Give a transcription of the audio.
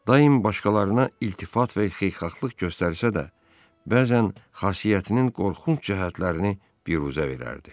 Daim başqalarına iltifat və xeyirxahlıq göstərsə də, bəzən xasiyyətinin qorxunc cəhətlərini biruzə verərdi.